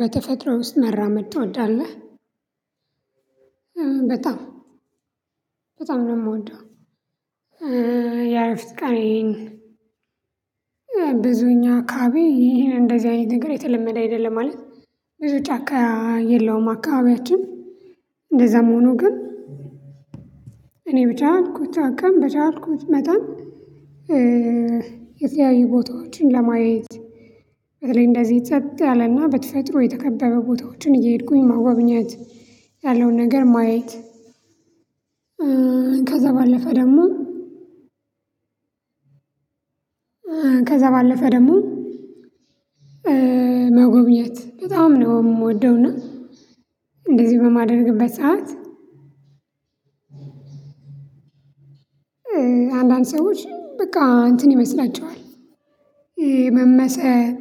በተፈጥሮ ውስጥ መራመድ ትወዳለህ? በጣም በጣም ነው የምወደው። የእረፍት ቀኔን። ብዙ እኛ አካባቢ እንደዚህ አይነት ነገር የተለመደ አይደለም ማለት። ብዙ ጫካ የለውም አካባቢያችን። እንደዛም ሆኖ ግን እኔ በቻልኩት አቅም በቻልኩት መጠን። የተለያዩ ቦታዎችን ለማየት በተለይ እንደዚህ ጸጥ ያለና በተፈጥሮ የተከበበ ቦታዎችን እየሄድኩኝ መጎብኘት ያለውን ነገር ማየት። ከዛ ባለፈ ደግሞ። ከዛ ባለፈ ደግሞ። መጎብኘት በጣም ነው የምወደው። እና እንደዚህ በማደርግበት ሰዓት። አንዳንድ ሰዎች በቃ እንትን ይመስላቸዋል። መመሰጥ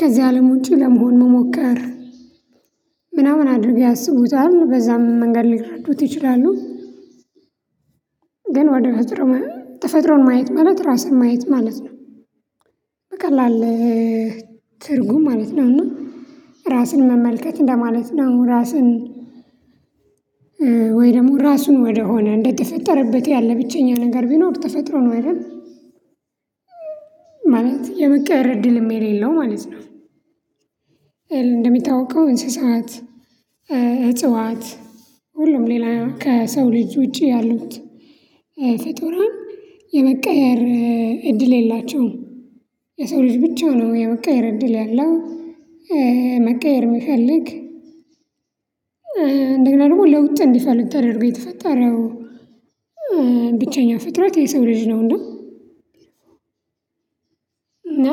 ከዚህ አለም ውጪ ለመሆን መሞከር ምናምን አድርገው ያስቡታል በዛም መንገድ ሊረዱት ይችላሉ። ግን ወደ ተፈጥሮ ተፈጥሮን ማየት ማለት ራስን ማየት ማለት ነው። በቃ ላለህ ትርጉም ማለት ነው። እና ራስን መመልከት እንደማለት ነው። ራስን ወይ ደግሞ ራሱን ወደሆነ እንደተፈጠረበት ያለ ብቸኛ ነገር ቢኖር ተፈጥሮ ነው አይደል? ማለት የመቀየር እድልም የሌለው ማለት ነው። እንደሚታወቀው እንስሳት እጽዋት ሁሉም ሌላ ከሰው ልጅ ውጪ ያሉት ፍጡራን የመቀያየር እድል የላቸውም። የሰው ልጅ ብቻ ነው የመቀየር እድል ያለው። መቀየር የሚፈልግ እንዲሁም ደግሞ ለውጥ እንዲፈልግ ተደርጎ የተፈጠረው። ብቸኛ ፍጥረት የሰው ልጅ ነው። እና እና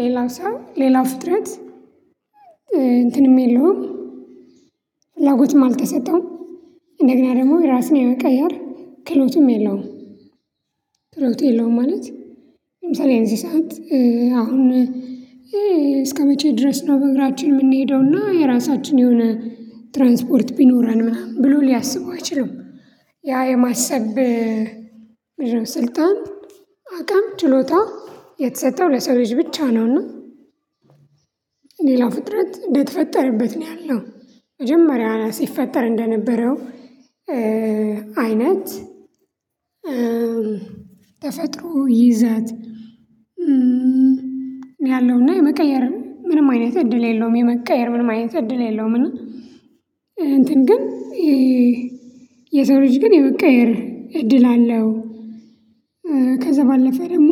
ሌላ ሰው ሌላ ፍጥረት እንትንም የለውም። ፍላጎትም አልተሰጠውም። እንደግና ደግሞ ራስን የመቀየር ክህሎትም የለውም። ክህሎት የለውም ማለት። ለምሳሌ እንስሳት አሁን እስከመቼ? ድረስ ነው በእግራችን የምንሄደው እና የራሳችን የሆነ ትራንስፖርት ቢኖረን ምናምን ብሎ ሊያስቡ አይችልም። ያ የማሰብ ስልጣን አቅም ችሎታ የተሰጠው ለሰው ልጅ ብቻ ነው። እና ሌላ ፍጥረት እንደተፈጠረበት ነው ያለው መጀመሪያ ሲፈጠር እንደነበረው። አይነት ተፈጥሮ ይዘት ያለውና የመቀየር ምንም አይነት እድል የለውም። የመቀየር ምንም አይነት እድል የለውም። እና እንትን ግን የሰው ልጅ ግን የመቀየር እድል አለው። ከዛ ባለፈ ደግሞ።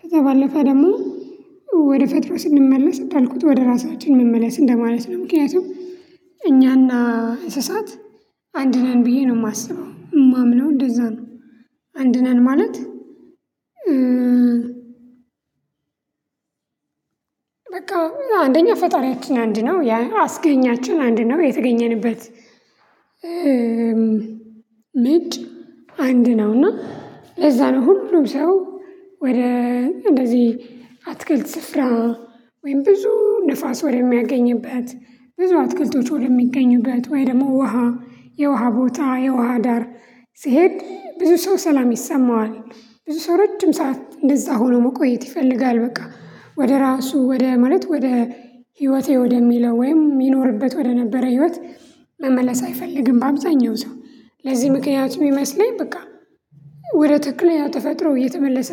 ከዛ ባለፈ ደግሞ ወደ ተፈጥሮ ስንመለስ እንዳልኩት ወደ ራሳችን እንመለስ እንደማለት ነው ምክንያቱም እኛና እንስሳት አንድ ነን ብዬ ነው የማስበው የማምነው እንደዛ ነው። አንድ ነን ማለት። በቃ አንደኛ ፈጣሪያችን አንድ ነው ያ አስገኛችን አንድ ነው የተገኘንበት። ምንጭ አንድ ነው። እና ለዛ ነው ሁሉም ሰው ወደ እንደዚህ አትክልት ስራ ወይም ብዙ ንፋስ ወደሚያገኝበት ብዙ አትክልቶች ወደሚገኙበት ወይ ደግሞ ውሃ የውሃ ቦታ የውሃ ዳር ሲሄድ ብዙ ሰው ሰላም ይሰማዋል። ብዙ ሰው ረጅም ሰዓት እንደዛ ሆኖ መቆየት ይፈልጋል። በቃ ወደ ራሱ ወደ ማለት ወደ ህይወቴ ወደሚለው ወይም ይኖርበት ወደነበረ ህይወት መመለስ አይፈልግም። በአብዛኛው ሰው ለዚህ ምክንያቱ የሚመስለኝ በቃ ወደ ትክክለኛ ተፈጥሮ እየተመለሰ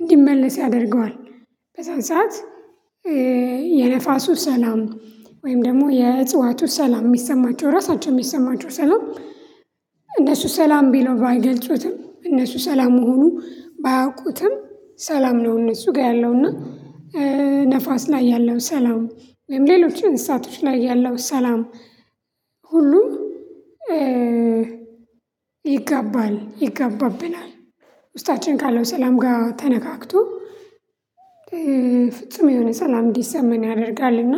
እንዲመለስ ያደርገዋል። በዛን ሰዓት የንፋሱ ሰላም ወይም ደግሞ የእጽዋቱ ሰላም የሚሰማቸው ራሳቸው የሚሰማቸው ሰላም። እነሱ ሰላም ብለው ባይገልጹትም እነሱ ሰላም መሆኑን ባያውቁትም ሰላም ነው። እነሱ ጋር ያለውና ንፋስ ላይ ያለው ሰላም ወይም ሌሎች እንስሳቶች ላይ ያለው ሰላም። ሁሉ ይጋባል ይጋባብናል። ውስጣችን ካለው ሰላም ጋር ተነካክቶ ፍጹም የሆነ ሰላም እንዲሰማን ያደርጋል። እና